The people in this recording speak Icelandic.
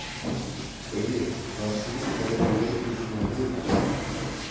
Gaui, hvaða sýningar eru í leikhúsinu á miðvikudaginn?